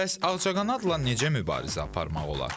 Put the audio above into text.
Bəs ağcaqanadla necə mübarizə aparmaq olar?